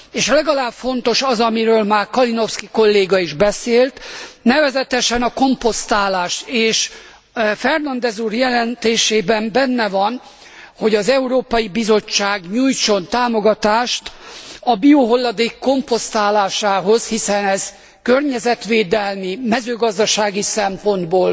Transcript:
És legalább ilyen fontos az, amiről már Kalinowski kolléga is beszélt, nevezetesen a komposztálás, és Fernandes úr jelentésében benne van, hogy az Európai Bizottság nyújtson támogatást a biohulladék komposztálásához, hiszen ez környezetvédelmi, mezőgazdasági szempontból